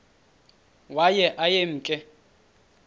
waye aye emke